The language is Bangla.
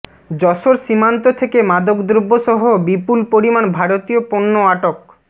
যশোর সীমান্ত থেকে মাদকদ্রব্যসহ বিপুল পরিমাণ ভারতীয় পণ্য আটক